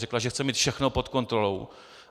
Řekla, že chce mít všechno pod kontrolou.